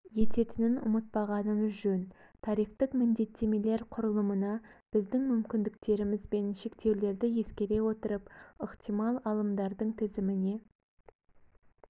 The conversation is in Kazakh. ететінін ұмытпағанымыз жөн тарифтік міндеттемелер құрылымына біздің мүмкіндіктеріміз бен шектеулерді ескере отырып ықтимал алымдардың тізіміне